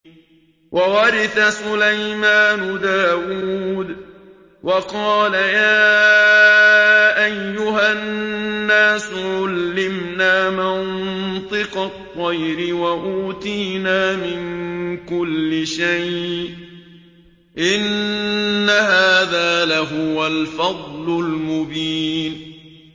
وَوَرِثَ سُلَيْمَانُ دَاوُودَ ۖ وَقَالَ يَا أَيُّهَا النَّاسُ عُلِّمْنَا مَنطِقَ الطَّيْرِ وَأُوتِينَا مِن كُلِّ شَيْءٍ ۖ إِنَّ هَٰذَا لَهُوَ الْفَضْلُ الْمُبِينُ